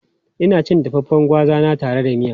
Ina cin dafaffen gwaza na tare da miya.